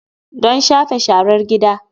Don shafe sharar gida.